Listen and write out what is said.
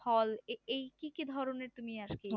ফল এই কি কি ধরনের তুমি আর কি